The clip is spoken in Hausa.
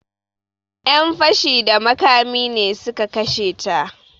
Yan fashi da makami ne su ka kashe ta.